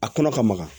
A kɔnɔ ka maga